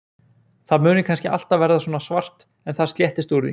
Það muni kannski alltaf verða svona svart en það sléttist úr því.